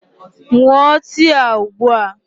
Ṅụọ tii a ugbu a!